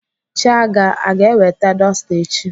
Chiaga aga eweta dọsta echi?